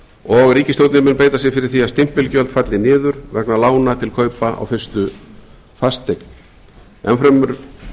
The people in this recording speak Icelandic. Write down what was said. og ríkisstjórnin mun beita sér fyrir því að stimpilgjöld falli niður vegna lána til kaupa á fyrstu fasteign enn fremur